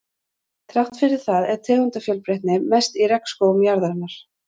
Þrátt fyrir það er tegundafjölbreytnin mest í regnskógum jarðarinnar.